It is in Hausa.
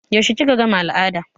Yaushe kika gama al'ada?